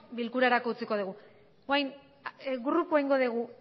bilkurarako utziko dugu grupo egingo dugu